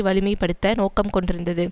வலிமை படுத்த நோக்கம் கொண்டிருந்தது